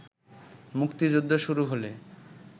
মুক্তিযুদ্ধ শুরু হলে